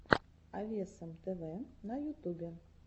авесом тв на ютубе